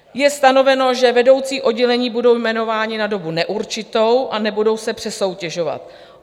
Je stanoveno, že vedoucí oddělení budou jmenováni na dobu neurčitou a nebudou se přesoutěžovat.